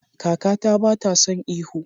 Kakata bata son ihu.